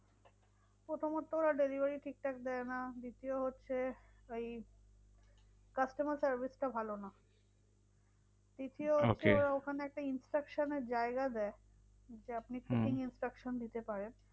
প্রথমত ওরা delivery ঠিকঠাক দেয় না। দ্বিতীয় হচ্ছে ওই customer service টা ভালো নয়। তৃতীয় হচ্ছে ওরা ওখানে একটা instruction এর জায়গা দেয় যে আপনি instruction দিতে পারেন।